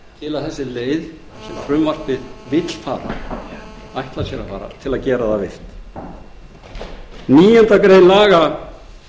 sú leið sem frumvarpið vill fara ætlar sér að fara verði virk níundu grein laga